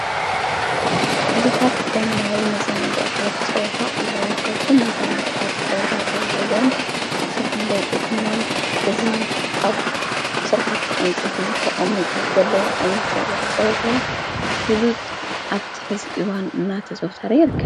ብዙሓት ዘመናዊ መዛናግዕታት ጸወታ ኣለዉ ወካብቶም መዛናግዕታት ጸወታ ተዉሂዶም ዘፍለጡ ድማ እዙ ኣብ ሥርኃት እንፂቲት ተቐሙጡ ዘሎ ኣንጸወታ ፍሉጥ ኣብቲ ሕዚ እዋን እናተዘወተረ ይርከብ።